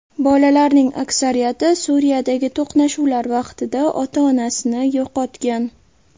Bolalarning aksariyati Suriyadagi to‘qnashuvlar vaqtida ota-onasini yo‘qotgan.